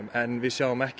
en við sjáum ekki